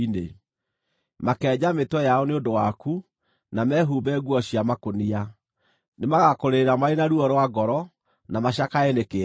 Makenja mĩtwe yao nĩ ũndũ waku, na mehumbe nguo cia makũnia. Nĩmagakũrĩrĩra marĩ na ruo rwa ngoro, na macakae nĩ kĩeha.